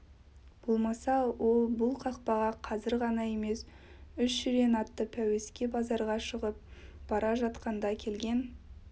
болмаса ол бұл қақпаға қазір ғана емес үш жирен атты пәуеске базарға шығып бара жатқанда келген